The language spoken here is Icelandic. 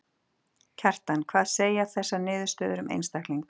Kjartan: Hvað segja þessar niðurstöður um einstakling?